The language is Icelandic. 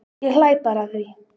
Ég hlæ bara að því.